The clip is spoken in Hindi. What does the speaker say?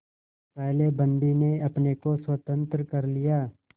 पहले बंदी ने अपने को स्वतंत्र कर लिया